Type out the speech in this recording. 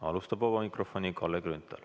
Alustab Kalle Grünthal.